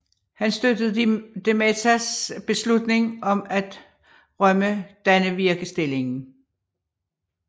Han støttede de Mezas beslutning om at rømme Dannevirkestillingen